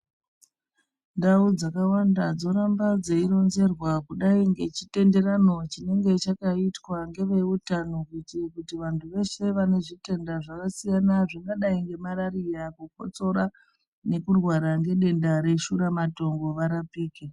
Ndau dzakawanda dzoramba dzeironzerwa kudai ngechitenderano chinenge chakaitwa ngeve utano kuti vantu veshe vane zvitenda zvakasiyana zvakadai nemarariya kukotsora nekurwara ngedenda reshura matongo varapike.